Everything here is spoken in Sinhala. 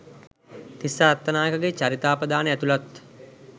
තිස්ස අත්තනායකගේ චරිතාප්‍රදානය ඇතුලත්